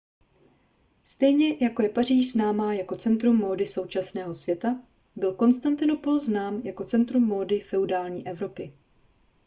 stejně jako je paříž známá jako centrum módy současného světa byl konstantinopol znám jako centrum módy feudální evropy